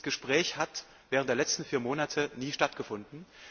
Dieses Gespräch hat während der letzten vier Monate nie stattgefunden.